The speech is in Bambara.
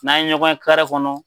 N'an ye ɲɔgɔn ye kare kɔnɔ